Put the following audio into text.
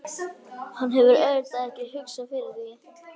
Hann hefur auðvitað ekki hugsað fyrir því?